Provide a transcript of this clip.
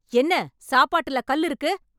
என்ன சாப்பாட்டுல கல் இருக்கு